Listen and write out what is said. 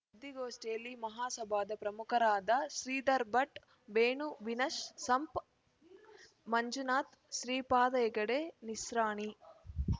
ಸುದ್ದಿಗೋಷ್ಠಿಯಲ್ಲಿ ಮಹಾಸಭಾದ ಪ್ರಮುಖರಾದ ಶ್ರೀಧರ ಭಟ್‌ ವೇಣು ವಿನ್ ಶ್‌ ಸಂಪ ಮಂಜುನಾಥ್‌ ಶ್ರೀಪಾದ ಹೆಗಡೆ ನಿಸ್ರಾಣಿ